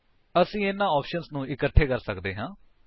ਅਸੀ ਇਹਨਾ ਆਪਸ਼ਨਸ ਨੂੰ ਇੱਕਠੇ ਕਰ ਸਕਦੇ ਹਾਂ